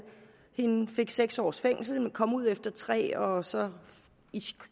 hende fik seks års fængsel men kom ud efter tre år og så